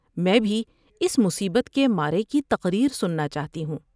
میں بھی اس مصیبت کے مارے کی تقریر سننا چاہتی ہوں ۔